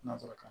Nansara kan